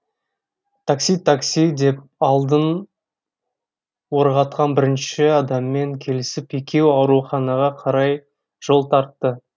такси такси деп алдын орағатқан бірінші адаммен келісіп екеуі ауруханаға қарай жол тартты